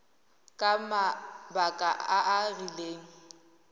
ka mabaka a a rileng